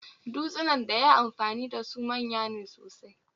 Dutsunan daya yi amfani dasu manya ne sosai